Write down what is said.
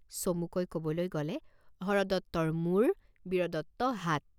চমুকৈ কবলৈ গলে হৰদত্তৰ মূৰ, বীৰদত্ত হাত।